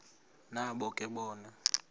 nabo ke bona